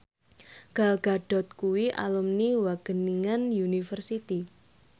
Gal Gadot kuwi alumni Wageningen University